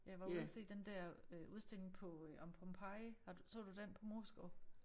Jeg var ude og se den der øh udstilling på øh om Pompeii har du så du den på Moesgaard?